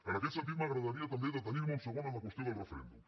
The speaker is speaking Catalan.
en aquest sentit m’agradaria també detenir me un segon en la qüestió del referèndum